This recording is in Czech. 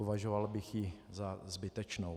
Považoval bych ji za zbytečnou.